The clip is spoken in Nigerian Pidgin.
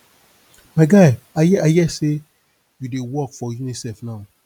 my guy i hear i hear say you dey work for unicef now